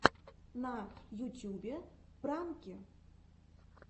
на ютьюбе пранки